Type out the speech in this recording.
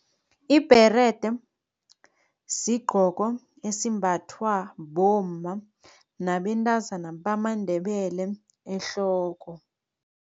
Ibherede sigqoko esimbathwa bomma nabentazana bamaNdebele ehloko.